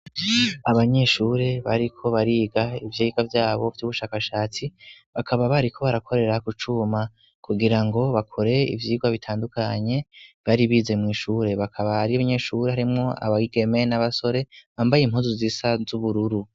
abanyeshure bariko bariga ivyigwa vyabo vy'ubushakashatsi bakaba bari ko barakorera gucuma kugira ngo bakore ivyigwa bitandukanye baribize mumw'ishure bakaba ari banyeshuri harimo abigeme n'abasore bambaye impuzu zisa z'ubururu